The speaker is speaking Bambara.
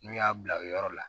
N'u y'a bila u yɔrɔ la